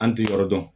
An ti yɔrɔ dɔn